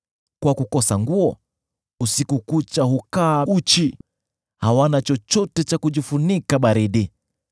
Kwa kukosa nguo, usiku kucha hukaa uchi; hawana chochote cha kujifunika baridi.